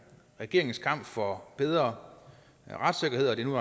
regeringens kamp for bedre retssikkerhed og at det nu